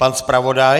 Pan zpravodaj.